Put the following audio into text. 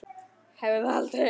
Hafði það aldrei.